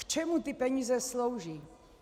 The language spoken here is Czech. K čemu ty peníze slouží?